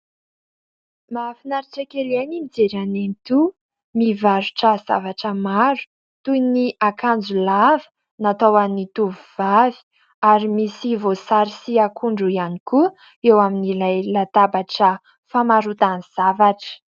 Mahafinaritra kely ahy ny mijery an'i nenitoa mivarotra zavatra maro toy ny akanjo lava, natao ho an'ny tovovavy, ary misy voasary sy akondro ihany koa eo amin'ilay latabatra famarotany zavatra.